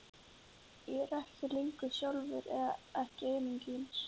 Ég er ekki lengur ég sjálfur, eða ekki einungis.